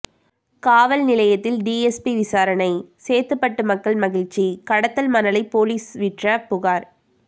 காவல் நிலையத்தில் டிஎஸ்பி விசாரணை சேத்துப்பட்டு மக்கள் மகிழ்ச்சி கடத்தல் மணலை போலீஸ் விற்ற புகார்